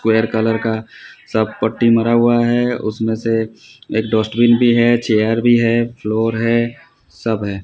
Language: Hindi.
स्क्वायर कलर का सब पट्टी मारा हुआ है उसमें से एक डस्टबिन भी है चेयर भी है फ्लोर है सब है।